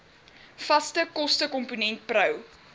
vaste kostekomponent pro